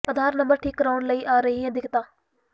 ਆਧਾਰ number ਠੀਕ ਕਰਵਾਉਣ ਲਈ ਆ ਰਹੀ ਹੈ ਦਿਕੱਤਾਂ